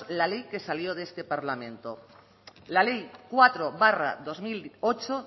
la ley que salió de este parlamento la ley cuatro barra dos mil ocho